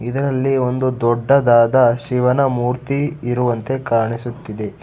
ಇದರಲ್ಲಿ ಒಂದು ದೊಡ್ಡದಾದ ಶಿವನ ಮೂರ್ತಿ ಇರುವಂತೆ ಕಾಣಿಸುತ್ತಿದೆ.